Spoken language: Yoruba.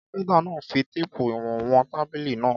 Kápẹ́ńtà náà fi téépù ìwọ̀n wọn tábìlì náà.